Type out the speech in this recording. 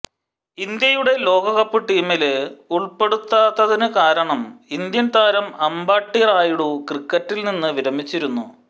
ഇന്ത്യയുടെ ലോകകപ്പ് ടീമില് ഉള്പ്പെടുത്താത്തത് കാരണം ഇന്ത്യന് താരം അമ്പാട്ടി റായുഡു ക്രിക്കറ്റില്നിന്ന് വിരമിച്ചിരുന്നു